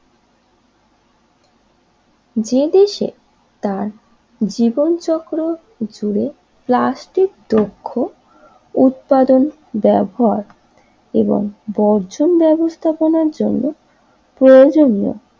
যে দেশে তার জীবন চক্র জুড়ে প্লাস্টিক দ্রব্য উৎপাদন ব্যবহার এবং বর্জন ব্যবস্থাপনার জন্য প্রয়োজনীয়